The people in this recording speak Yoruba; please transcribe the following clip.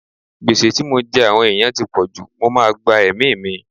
Gbèsè tí mo jẹ àwọn ẹ̀yàn ti pọ̀jù, mo máa gba ẹ̀mí mi.